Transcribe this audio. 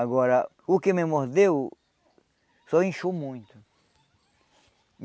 Agora, o que me mordeu só inchou muito.